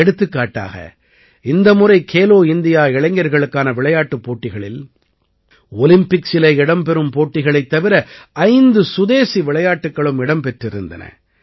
எடுத்துக்காட்டாக இந்த முறை கேலோ இந்தியா இளைஞர்களுக்கான விளையாட்டுப் போட்டிகளில் ஒலிம்பிக்ஸிலே இடம்பெறும் போட்டிகளைத் தவிர ஐந்து சுதேசி விளையாட்டுக்களும் இடம் பெற்றிருந்தன